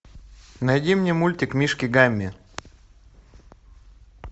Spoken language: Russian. найди мне мультик мишки гамми